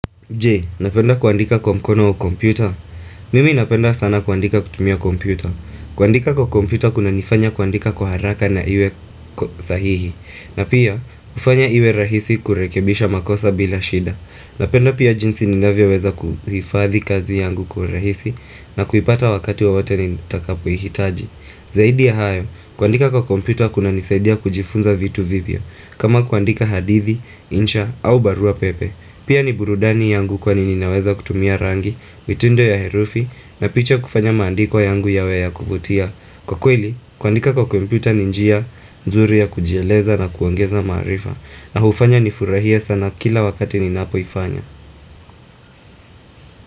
Je, unapenda kuandika kwa mkono wa kompyuta. Mimi napenda sana kuandika kutumia kompyuta. Kuandika kwa kompyuta kuna nifanya kuandika kwa haraka na iwe sahihi. Na pia, hufanya iwe rahisi kurekebisha makosa bila shida. Napenda pia jinsi ninavyoweza kuhifadhi kazi yangu kwa rahisi na kuipata wakati wa wote nitakapo ihitaji. Zaidi ya hayo, kuandika kwa komputa kuna nisaidia kujifunza vitu vipya kama kuandika hadithi, insha, au barua pepe Pia ni burudani yangu kwa ninaweza kutumia rangi, mitindo ya herufi na picha kufanya maandiko yangu yawe ya kuvutia Kwa kweli, kuandika kwa komputa ni njia, nzuri ya kujieleza na kuongeza maarifa na hufanya nifurahie sana kila wakati ninapoifanya.